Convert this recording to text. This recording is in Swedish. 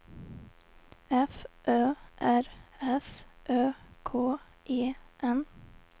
F Ö R S Ö K E N